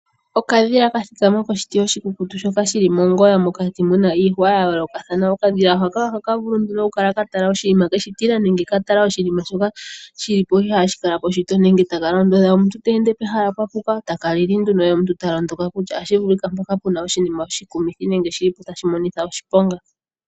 Okadhila ka thikama koshiti oshikukutu shoka shi li mongoya mokati mu na iihwa ya yoolokathana. Okadhila haka ohaka vulu nduno okukala ka tala oshinima keshi tila nenge ka tala oshinima shoka shi li po ihaashi kala po shito nenge taka londodha omuntu te ende pehala lya puka, taka lili nduno ye omuntu ta londoka nduno kutya otashi vulika pehala mpoka pu kale oshinima oshikumithi nenge shi li po tashi mu monitha oshiponga.